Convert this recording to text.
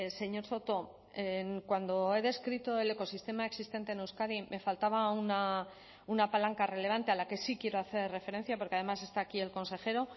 señor soto cuando he descrito el ecosistema existente en euskadi me faltaba una palanca relevante a la que sí quiero hacer referencia porque además está aquí el consejero